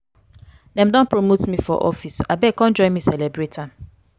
dem don promote me for office abeg come join me celebrate am.